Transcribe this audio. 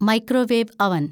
microwave അവന്‍